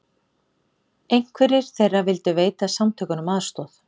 Einhverjir þeirra vildu veita samtökunum aðstoð